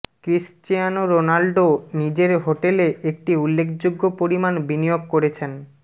Cristiano Ronaldo নিজের হোটেলে একটি উল্লেখযোগ্য পরিমাণ বিনিয়োগ করেছেন